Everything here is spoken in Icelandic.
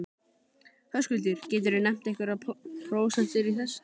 Höskuldur: geturðu nefnt einhverjar prósentur í þessu?